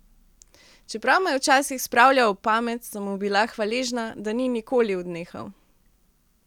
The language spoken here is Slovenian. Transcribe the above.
Čeprav me je včasih spravljal ob pamet, sem mu bila hvaležna, da ni nikoli odnehal.